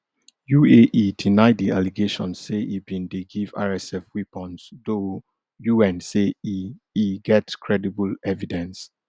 uae deny di allegations say e bin dey give rsf weapons though un say e e get credible evidence